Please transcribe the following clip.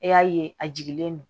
E y'a ye a jiginnen don